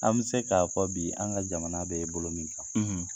An bɛ se k'a fɔ bi an ka jamana bɛ bolo min kan